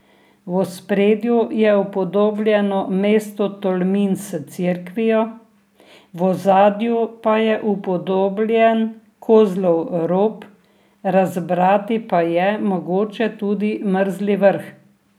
V ospredju je upodobljeno mesto Tolmin s cerkvijo, v ozadju pa je upodobljen Kozlov rob, razbrati pa je mogoče tudi Mrzli vrh.